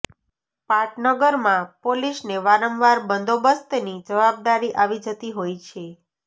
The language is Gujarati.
પાટનગરમાં પોલીસને વારંવાર બંદોબસ્તની જવાબદારી આવી જતી હોય છે